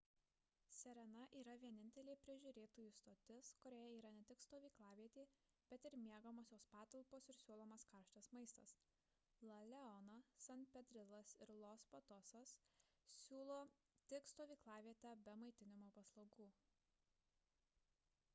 sirena yra vienintelė prižiūrėtojų stotis kurioje yra ne tik stovyklavietė bet ir miegamosios patalpos ir siūlomas karštas maistas la leona san pedrilas ir los patosas siūlo tik stovyklavietę be maitinimo paslaugų